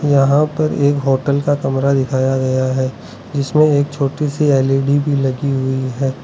यहां पर एक होटल का कमरा दिखाया गया है जिसमें एक छोटी सी एल_ई_डी भी लगी हुई है।